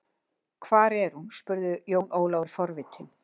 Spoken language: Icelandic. Hvar er hún, spurði Jón Ólafur forvitinn.